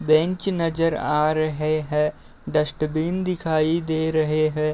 Bench नज़र आ रहे हैं। डस्टबिन दिखाई दे रहे हैं।